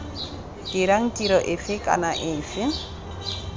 dirang tiro efe kana efe